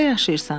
Harda yaşayırsan?